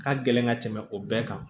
Ka gɛlɛn ka tɛmɛ o bɛɛ kan